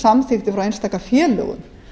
samþykktir frá einstaka félögum